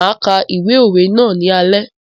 Máa ka ìwé òwe ná ní alé.